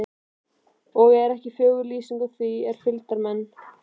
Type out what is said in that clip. Ekki er fögur lýsingin á því er fylgdarmenn